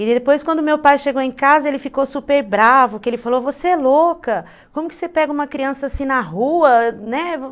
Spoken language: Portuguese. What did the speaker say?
E depois quando meu pai chegou em casa ele ficou super bravo, porque ele falou, você é louca, como que você pega uma criança assim na rua, né.